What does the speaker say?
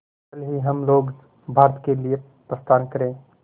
कल ही हम लोग भारत के लिए प्रस्थान करें